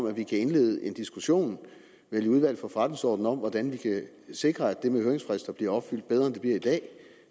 at vi kan indlede en diskussion vel i udvalget for forretningsordenen om hvordan vi kan sikre at det med høringsfrister bliver opfyldt bedre end det bliver i dag